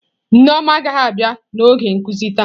Nneoma agaghị abịa n'oge nkuzi taa.